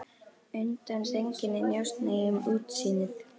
Undan sænginni njósna ég um útsýnið.